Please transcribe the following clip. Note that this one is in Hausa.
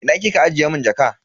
Ina kika ajiye mun jaka?